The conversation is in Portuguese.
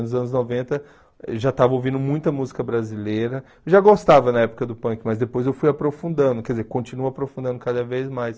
Nos anos noventa eu já estava ouvindo muita música brasileira, já gostava na época do punk, mas depois eu fui aprofundando, quer dizer, continuo aprofundando cada vez mais.